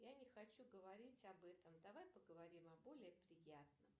я не хочу говорить об этом давай поговорим о более приятном